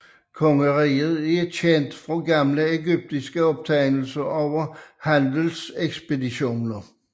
Kongeriget er kendt fra gamle egyptiske optegnelser over handelekspeditioner